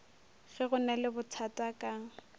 ge go na lebothata ka